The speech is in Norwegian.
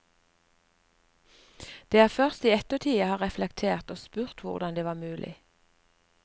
Det er først i ettertid jeg har reflektert og spurt hvordan det var mulig.